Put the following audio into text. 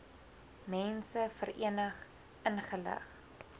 mense verenig ingelig